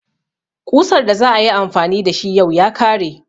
Ƙusar da za a yi amfani da shi yau ya kare.